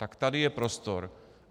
Tak tady je prostor.